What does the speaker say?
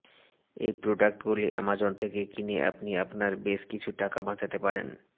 এই প্রোডাক্টগুলি অ্যামাজন থেকে কিনে আপনি আপনার বেশ কিছু টাকা বাচাতে পারেন